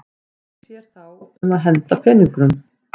Hver sér um að henda peningum?